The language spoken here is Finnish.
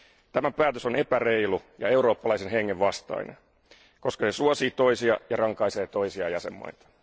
Tämä päätös on epäreilu ja eurooppalaisen hengen vastainen, koska se suosii toisia ja rankaisee toisia jäsenvaltioita.